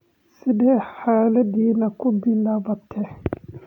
Sidee xaaladani ku bilaabatay?